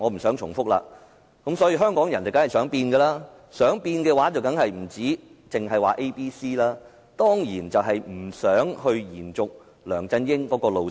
所以，香港人當然想改變，而想改變的話，當然不單只是 Anyone but CY， 當然是不想延續梁振英路線。